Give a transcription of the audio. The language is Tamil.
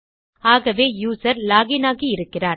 ஆகவே யூசர் லாக் இன் ஆகி இருக்கிறார்